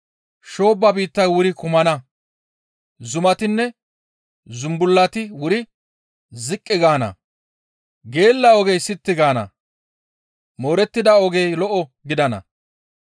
Shoobba biittay wuri kumana; zumatinne zumbullati wuri ziqqi gaana; geella ogey sitti gaana; moorettida ogey lo7o gidana.